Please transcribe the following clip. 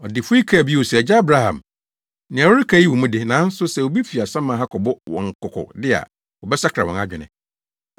“Ɔdefo yi kaa bio se, ‘Agya Abraham, nea woreka yi wɔ mu de, nanso sɛ obi fi asaman ha kɔbɔ wɔn kɔkɔ de a, wɔbɛsakra wɔn adwene.’